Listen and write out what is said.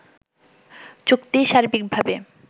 চুক্তি সার্বিকভাবে